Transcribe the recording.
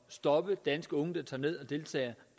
stoppe danske unge der tager ned og deltager